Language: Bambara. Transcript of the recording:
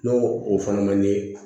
N'o o fana man ɲi